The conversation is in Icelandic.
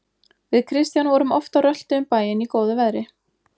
Við Kristján vorum oft á rölti um bæinn í góðu veðri.